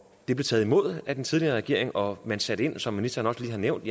det blev taget imod af den tidligere regering og man satte ind som ministeren også lige har nævnt